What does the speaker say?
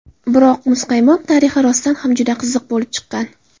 Biroq muzqaymoq tarixi rostdan ham juda qiziq bo‘lib chiqqan.